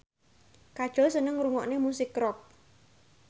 Kajol seneng ngrungokne musik rock